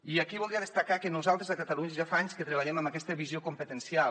i aquí voldria destacar que nosaltres a catalunya ja fa anys que treballem amb aquesta visió competencial